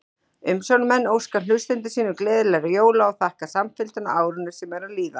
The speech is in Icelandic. Umsjónarmenn óska hlustendum sínum gleðilegra jóla og þakka samfylgdina á árinu sem er að líða!